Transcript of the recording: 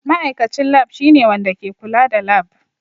Ma'aikacin Lab shine wanda ke kula da lab.